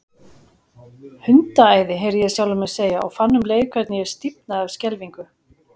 Hundaæði, heyrði ég sjálfan mig segja, og fann um leið hvernig ég stífnaði af skelfingu.